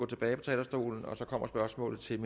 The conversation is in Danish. tilbage på talerstolen så kommer spørgsmålet til